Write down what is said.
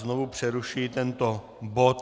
Znovu přerušuji tento bod.